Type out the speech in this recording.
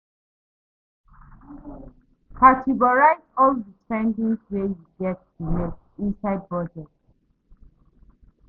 Categorize all di spending wey you get to make inside budget